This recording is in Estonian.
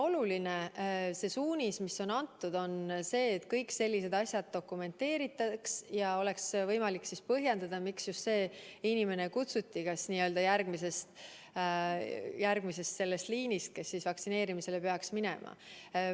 Oluline on see suunis, mis on antud, et kõik sellised asjad dokumenteeritaks ja oleks võimalik põhjendada, miks just see inimene kutsuti n-ö järgmisest liinist, mis vaktsineerimisele peaks minema.